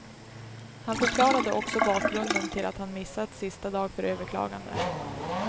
Han förklarade också bakgrunden till att han missat sista dag för överklagande.